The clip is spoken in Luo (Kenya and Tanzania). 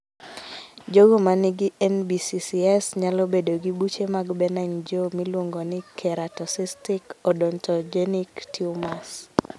Jogo manigi NBCCS nyalo bedo gi buche mag benign jaw miluongo ni keratocystic odontogenic tumors.